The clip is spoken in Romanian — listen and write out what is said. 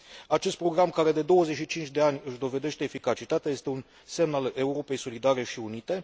Acest program, care de 25 de ani își dovedește eficacitatea, este un semn al Europei solidare și unite.